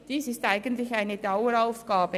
Dies ist eigentlich eine Daueraufgabe.